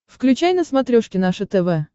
включай на смотрешке наше тв